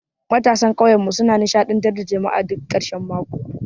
Matasan ƙauyenmu suna nishadantar da jama'a duk karshen mako.